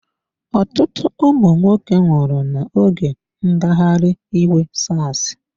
Ọtụtụ ụmụ nwoke nwụrụ n'oge ngagharị iwe Sars.